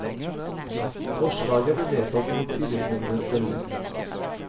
Forslaget ble vedtatt mot tillitsmennenes stemmer.